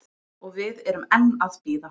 Og við erum enn að bíða